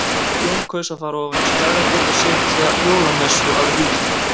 Jón kaus að fara ofan í Skagafjörð og sitja jólamessu að Víðimýri.